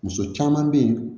Muso caman bɛ yen